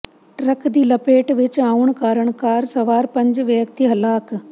truck ਦੀ ਲਪੇਟ ਵਿਚ ਆਉਣ ਕਾਰਨ ਕਾਰ ਸਵਾਰ ਪੰਜ ਵਿਅਕਤੀ ਹਲਾਕ